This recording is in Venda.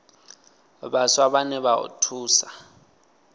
vhaswa vhane vha o thusa